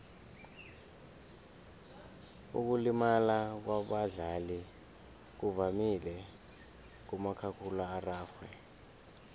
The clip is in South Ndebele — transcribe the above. ukulimala kwabadlali kuvamile kumakhakhulararhwe